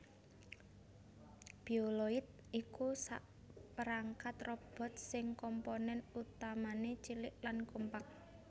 Bioloid iku sakperangkat robot sing komponèn utamané cilik lan kompak